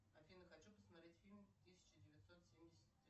афина хочу посмотреть фильм тысяча девятьсот семьдесят